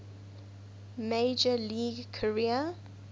major league career